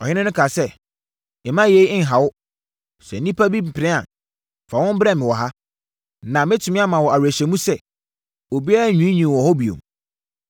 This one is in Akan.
Ɔhene no kaa sɛ, “Mma yei nha wo. Sɛ nnipa bi mpene a, fa wɔn brɛ me wɔ ha. Na mɛtumi ama wo awerɛhyɛmu sɛ, obiara nwiinwii wɔ ho bio.”